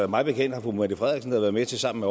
mig bekendt har fru mette frederiksen da været med til sammen